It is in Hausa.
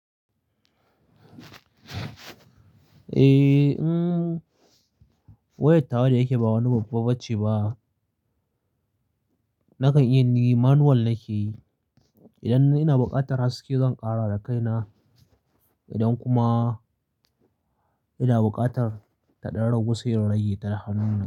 Eh, wayar tawa da yake ba wani babba ba ce ba. Nakan iya ni manual nake yi. Idan ina buƙatar haske zan ƙara da kaina idan kuma ina buƙatar ta ɗan ragu sai in rage ta da hannu na.